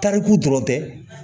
Tariku dɔrɔn tɛ